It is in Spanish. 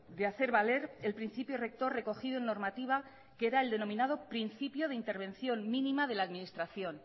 de hacer valer el principio recto recogido en normativa que era el denominado principio de intervención mínima de la administración